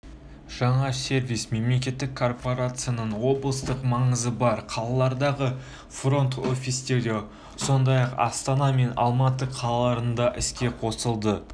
жаңа сервис мемлекеттік корпорацияның облыстық маңызы бар қалалардағы фронт-офистерінде сондай-ақ астана мен алматы қалаларында іске қосылды